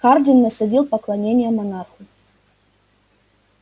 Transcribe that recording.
хардин насадил поклонение монарху